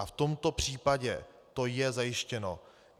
A v tomto případě to je zajištěno.